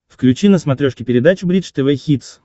включи на смотрешке передачу бридж тв хитс